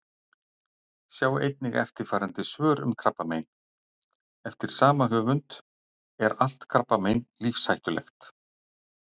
Sjá einnig eftirfarandi svör um krabbamein: Eftir sama höfund Er allt krabbamein lífshættulegt?